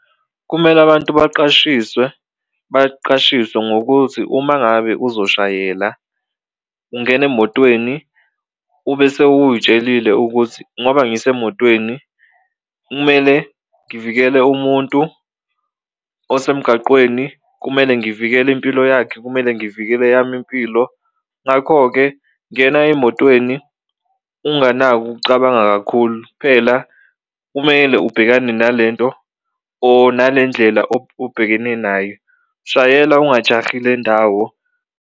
Kumele abantu baqashiswe baqashiswe ngokuthi uma ngabe uzoshayela ungena emotweni ube sewutshelile ukuthi ngoba ngisemotweni kumele ngivikele umuntu osemgaqweni, kumele ngivikele impilo yakhe, kumele ngivikele eyami impilo. Ngakho-ke, ngena emotweni unganako ukucabanga kakhulu kuphela kumele ubhekane nalento or nale ndlela obhekene nayo, shayela ungajahile ndawo.